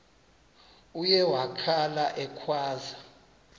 uye wakhala ekhwaza